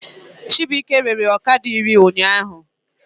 Chibuike rere ọkada iri ụnyaahụ